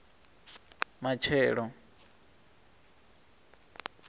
matshelo